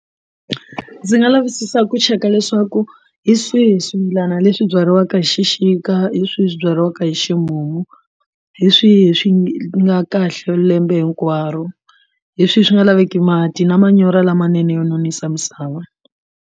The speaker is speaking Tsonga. Ndzi nga lavisisa ku cheka leswaku hi swihi swimilana leswi byariwaka hi xixika hi swihi swi byariwaka hi ximumu hi swihi swi nga kahle lembe hinkwaro hi swihi swi nga laveki mati na manyoro lamanene yo nonisa misava.